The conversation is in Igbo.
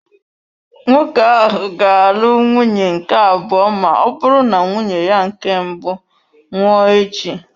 Nwoke ahụ ga-alụ nwunye nke abụọ ma ọ bụrụ na nwunye ya nke mbụ nwụọ echi.